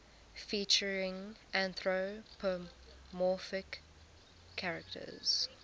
featuring anthropomorphic characters